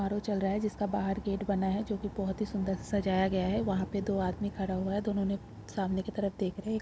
आरों चल रहा है। जिसका बाहर गेट बना है। जोकी बहोत ही सुंदर सजाया गया है। यहा पे दो आदमी खड़ा हुआ है। दोनों ने सामने की तरफ देख रहे है।